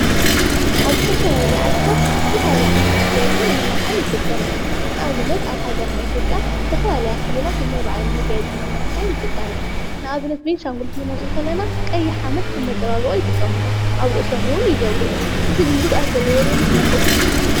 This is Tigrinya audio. ኣብ ዝተፈላለዩ ዓድታት ዝተፈላለዩ ምጋየፅን መማላክዕን ይጥቀሙ እዮም:: ንኣብነት ኣብ ሃገርና ኢትዮጵያ ዝተፈላለያ ክልላት ነናይ ባዕለን መጋየፅን መመላክዕን ይጥቀማ እየን:: ንኣብነት ቤንሻንጉል ክነልዕል ከለና ቀይሕ ሓመድ ከም መፅባበቂ ይጥቀምሉ ኣብ ርእሶም እዉን ይገብርዎ እዚ ጉድኣት ዘለዎ ዶ ይመስለኩም ?